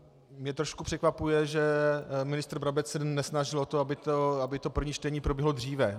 Mě trošku překvapuje, že ministr Brabec se nesnažil o to, aby to první čtení proběhlo dříve.